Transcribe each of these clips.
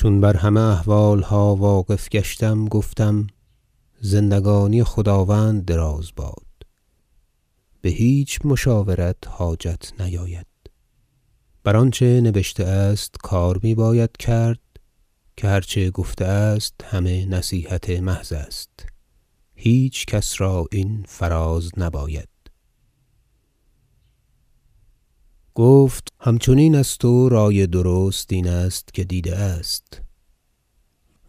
چون بر همه احوالها واقف گشتم گفتم زندگانی خداوند دراز باد به هیچ مشاورت حاجت نیاید بر آنچه نبشته است کار می باید کرد که هر چه گفته است همه نصیحت محض است هیچ کس را این فراز نباید گفت گفت همچنین است و رأی درست این است که دیده است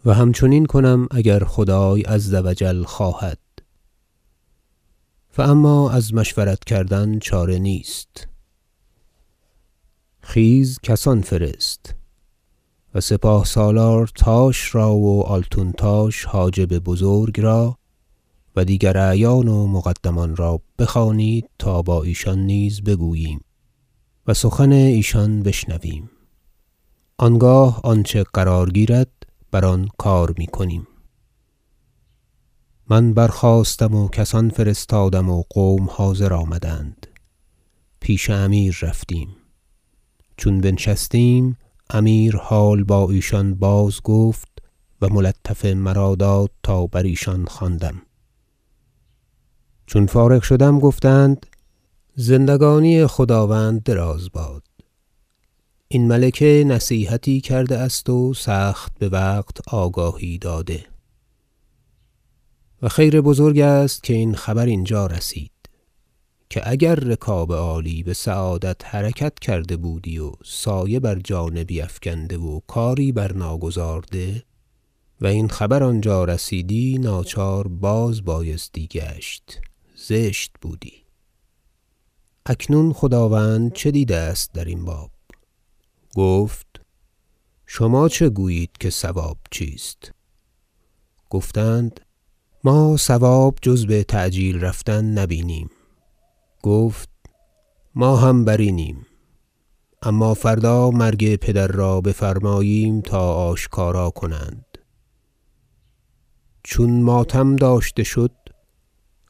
و همچنین کنم اگر خدای -عز و جل- خواهد فاما از مشورت کردن چاره نیست خیز کسان فرست و سپاه سالارتاش را و التون تاش حاجب بزرگ را و دیگر اعیان و مقدمان را بخوانید تا با ایشان نیز بگوییم و سخن ایشان بشنویم آنگاه آنچه قرار گیرد بر آن کار می کنیم من برخاستم و کسان فرستادم و قوم حاضر آمدند پیش امیر رفتیم چون بنشستیم امیر حال با ایشان بازگفت و ملطفه مرا داد تا بر ایشان خواندم چون فارغ شدم گفتند زندگانی خداوند دراز باد این ملکه نصیحتی کرده است و سخت بوقت آگاهی داده و خیر بزرگ است که این خبر اینجا رسید که اگر رکاب عالی بسعادت حرکت کرده بودی و سایه بر جانبی افکنده و کاری برناگزارده و این خبر آنجا رسیدی ناچار بازبایستی گشت زشت بودی اکنون خداوند چه دیده است در این باب گفت شما چه گویید که صواب چیست گفتند ما صواب جز بتعجیل رفتن نبینیم گفت ما هم بر اینیم اما فردا مرگ پدر را بفرماییم تا آشکارا کنند چون ماتم داشته شد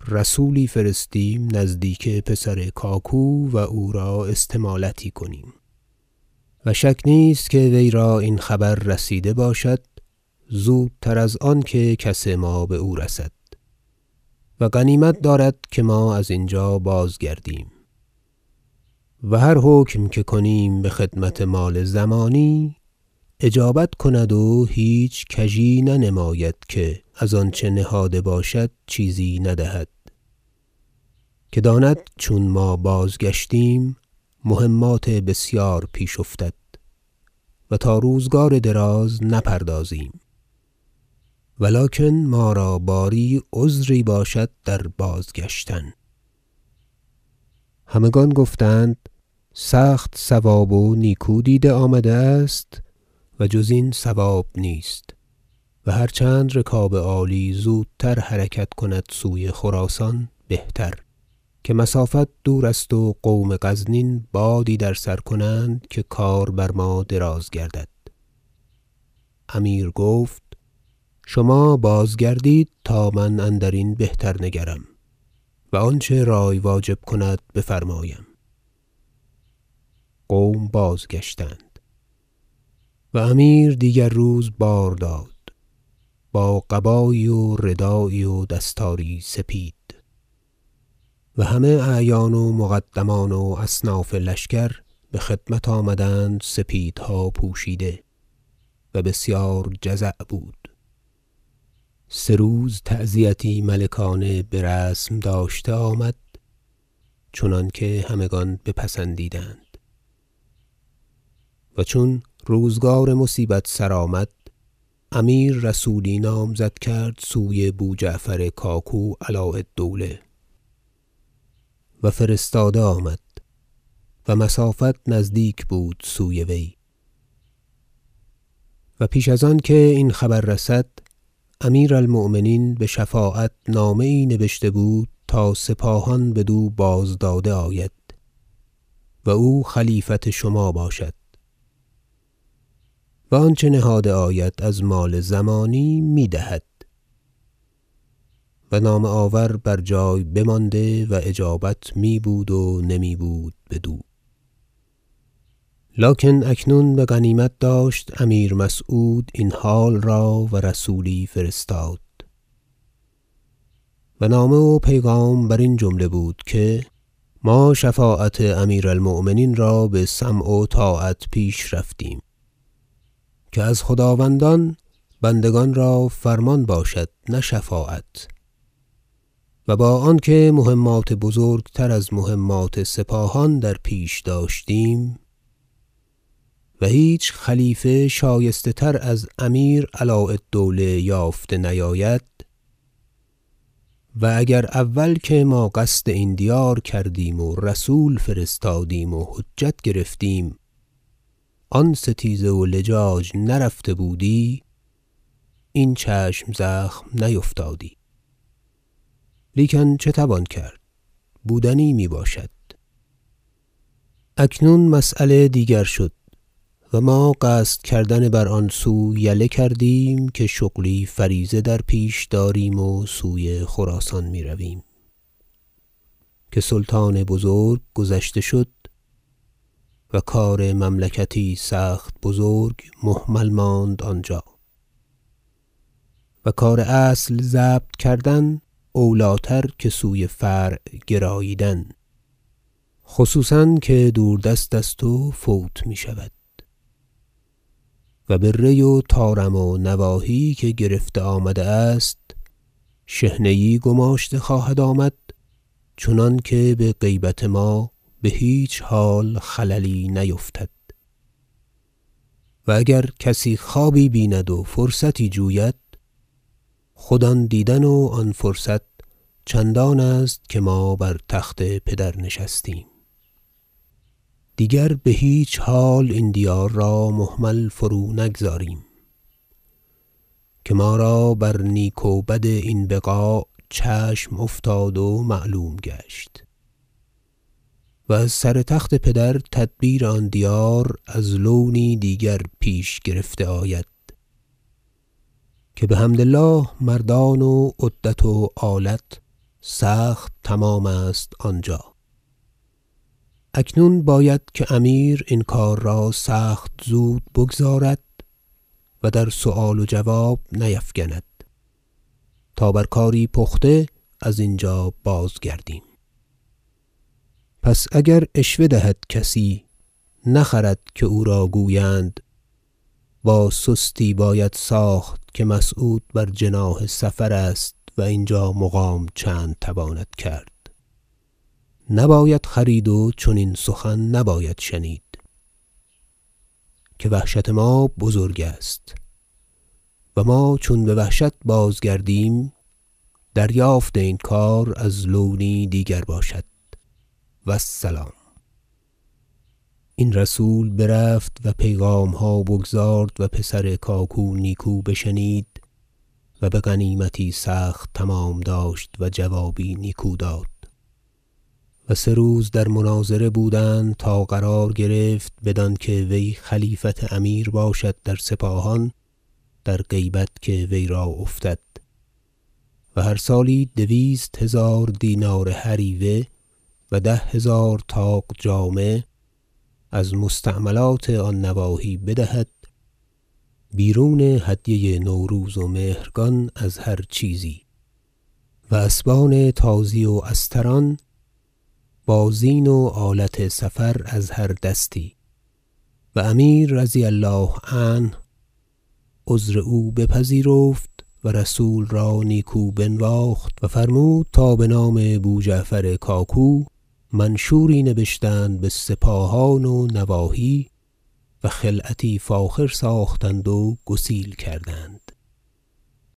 رسولی فرستیم نزدیک پسر کاکو و او را استمالتی کنیم و شک نیست که وی را این خبر رسیده باشد زودتر از آنکه کس ما به او رسد و غنیمت دارد که ما از اینجا بازگردیم و هر حکم که کنیم به خدمت مال ضمانی اجابت کند و هیچ کژی ننماید که از آنچه نهاده باشد چیزی ندهد که داند چون ما بازگشتیم مهمات بسیار پیش افتد و تا روزگار دراز نپردازیم و لکن ما را باری عذری باشد در بازگشتن همگان گفتند سخت صواب و نیکو دیده آمده است و جز این صواب نیست و هرچند رکاب عالی زودتر حرکت کند سوی خراسان بهتر که مسافت دور است و قوم غزنین بادی در سر کنند که کار بر ما دراز گردد امیر گفت شما بازگردید تا من اندرین بهتر نگرم و آنچه رأی واجب کند بفرمایم قوم بازگشتند و امیر دیگر روز بار داد با قبایی و ردایی و دستاری سپید و همه اعیان و مقدمان و اصناف لشکر به خدمت آمدند سپیدها پوشیده و بسیار جزع بود سه روز تعزیتی ملکانه برسم داشته آمد چنانکه همگان بپسندیدند و چون روزگار مصیبت سرآمد امیر رسولی نامزد کرد سوی بوجعفر کاکو علاء الدوله و فرستاده آمد و مسافت نزدیک بود سوی وی و پیش از آن که این خبر رسد امیر المؤمنین به شفاعت نامه یی نبشته بود تا سپاهان بدو باز داده آید و او خلیفت شما باشد و آنچه نهاده آید از مال ضمانی می دهد و نامه آور بر جای بمانده و اجابت می بود و نمی بود بدو لکن اکنون بغنیمت داشت امیر مسعود این حال را و رسولی فرستاد و نامه و پیغام بر این جمله بود که ما شفاعت امیر المؤمنین را به سمع و طاعت پیش رفتیم که از خداوندان بندگان را فرمان باشد نه شفاعت و با آنکه مهمات بزرگتر از مهمات سپاهان در پیش داشتیم و هیچ خلیفه شایسته تر از امیر علاء الدوله یافته نیاید و اگر اول که ما قصد این دیار کردیم و رسول فرستادیم و حجت گرفتیم آن ستیزه و لجاج نرفته بودی این چشم زخم نیفتادی لیکن چه توان کرد بودنی می باشد اکنون مسیله دیگر شد و ما قصد کردن بر آن سو یله کردیم که شغل فریضه در پیش داریم و سوی خراسان می رویم که سلطان بزرگ گذشته شد و کار مملکتی سخت بزرگ مهمل ماند آنجا و کار اصل ضبط کردن اولی تر که سوی فرع گراییدن خصوصا که دوردست است و فوت می شود و به ری و طارم و نواحی که گرفته آمده است شحنه یی گماشته خواهد آمد چنانکه به غیبت ما به هیچ حال خللی نیفتد و اگر کسی خوابی بیند و فرصتی جوید خود آن دیدن و آن فرصت چندان است که ما بر تخت پدر نشستیم دیگر به هیچ حال این دیار را مهمل فرونگذاریم که ما را بر نیک و بد این بقاع چشم افتاد و معلوم گشت و از سر تخت پدر تدبیر آن دیار از لونی دیگر پیش گرفته آید که بحمد الله مردان و عدت و آلت سخت تمام است آنجا اکنون باید که امیر این کار را سخت زود بگزارد و در سؤال و جواب نیفگند تا بر کاری پخته ازینجا بازگردیم پس اگر عشوه دهد کسی نخرد که او را گویند با سستی باید ساخت که مسعود بر جناح سفر است و اینجا مقام چند تواند کرد نباید خرید و چنین سخن نباید شنید که وحشت ما بزرگ است و ما چون بوحشت بازگردیم دریافت این کار از لونی دیگر باشد و السلام این رسول برفت و پیغامها بگزارد و پسر کاکو نیکو بشنید و بغنیمتی سخت تمام داشت و جوابی نیکو داد و سه روز در مناظره بودند تا قرار گرفت بدانکه وی خلیفت امیر باشد در سپاهان در غیبت که وی را افتد و هر سالی دویست هزار دینار هریوه و ده هزار طاق جامه از مستعملات آن نواحی بدهد بیرون هدیه نوروز و مهرگان از هر چیزی و اسبان تازی و استران با زین و آلت سفر از هر دستی و امیر -رضی الله عنه- عذر او بپذیرفت و رسول را نیکو بنواخت و فرمود تا به نام بوجعفر کاکو منشوری نبشتند به سپاهان و نواحی و خلعتی فاخر ساختند و گسیل کردند